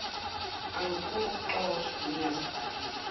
angifuni ukuxoshwa ngingazibhalile